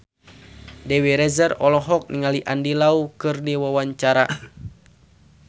Dewi Rezer olohok ningali Andy Lau keur diwawancara